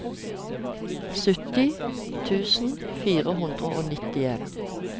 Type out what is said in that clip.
sytti tusen fire hundre og nittien